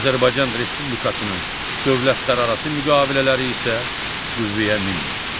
Azərbaycan Respublikasının dövlətlərarası müqavilələri isə qüvvəyə minmir.